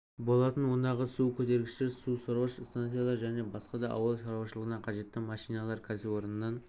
болатын ондағы су көтергіштер су сорғыш станциялар және басқа да ауыл шаруашылығына қажетті машиналар кәсіпорыннан